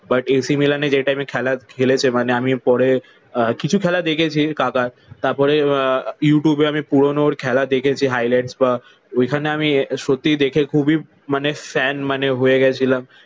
But A C মিলানে যে টাইমে খেলা খেলেছে মানে আমি পরে কিছু খেলা দেখেছি কাকার। তারপরে আহ ইউটিউবে আমি পুরনো খেলা দেখেছি হাইলাইটস বা ওইখানে আমি সত্যিই দেখে খুবই মানে ফ্যান মানে হয়ে গেছিলাম।